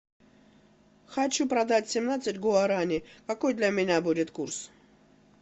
хочу продать семнадцать гуарани какой для меня будет курс